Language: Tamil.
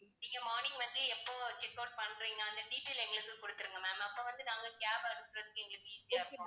நீங்க morning வந்து எப்போ checkout பண்றீங்க அந்த detail எங்களுக்குக் கொடுத்திருங்க ma'am அப்ப வந்து நாங்க cab அனுப்புறதுக்கு எங்களுக்கு easy ஆ இருக்கும்